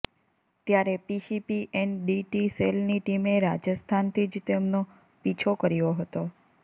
ત્યારે પીસીપીએનડીટી સેલની ટીમે રાજસ્થાનથી જ તેનો પીછો કર્યા હતો